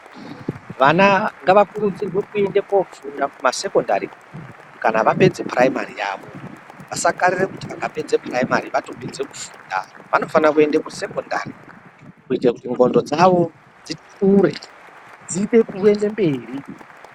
Vana ngava kurudzirwe ku ende kofunda ku masekondari kana vapedze puraimari yavo vasa karirere kuti vaka pedze puraimari vato pedze ku funda vano fane kuende ku sekondari kuite kuti ndxondo dzawo dzi kure dziite kuende mberi.